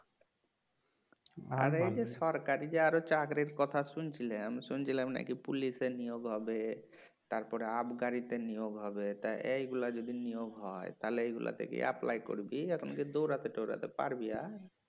আর এই যে সরকারি আরও চাকরির কথা শুনছিলাম শুনছিলাম নাকি পুলিশে নিয়োগ হবে তারপরে তে নিয়োগ হবে তা এইগুলা যদি নিয়োগ হয় তাহলে এইগুলোতে কি apply করবি দৌড়াতে তৌরাতে পারবি আর